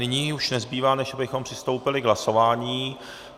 Nyní už nezbývá, než abychom přistoupili k hlasování.